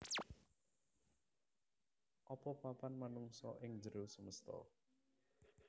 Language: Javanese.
Apa papan manungsa ing njero semesta